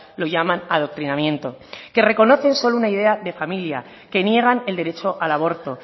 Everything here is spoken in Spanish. lo llaman adoctrinamiento que reconocen solo una idea de familia que niegan el derecho al aborto